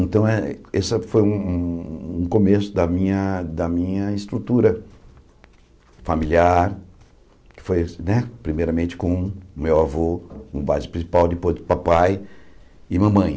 Então, eh esse foi um um um começo da minha da minha estrutura familiar, que foi né, primeiramente, com meu avô, com base principal, depois do papai e mamãe.